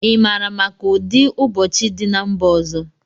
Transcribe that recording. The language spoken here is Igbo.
Ị maara maka ụdị ụdidiụbọọchi dị na mba ọzọ?